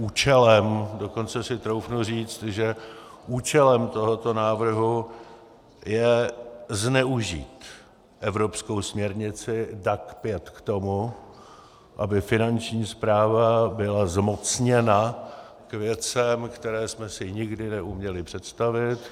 Účelem, dokonce si troufnu říct, že účelem tohoto návrhu je zneužít evropskou směrnici DAC 5 k tomu, aby Finanční správa byla zmocněna k věcem, které jsme si nikdy neuměli představit.